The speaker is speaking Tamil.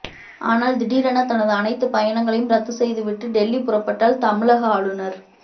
ஆனால் திடீரென தனது அனைத்து பயணங்களையும் ரத்து செய்து விட்டு டெல்லி புறப்பட்டார் தமிழக ஆளுநர்